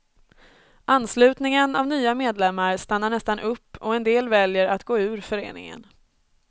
Anslutningen av nya medlemmar stannar nästan upp och en del väljer att gå ur föreningen.